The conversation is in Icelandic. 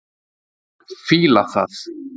Fíla það.